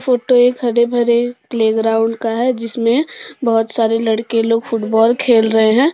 Photo एक हरे भरे प्लेग्राउंड का है जिसमें बहुत सारे लड़के लोग फुटबॉल खेल रहे हैं।